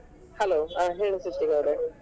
Hello ಹಾ ಹೇಳಿ ಸೃಷ್ಟಿಕ್ ಅವರೇ.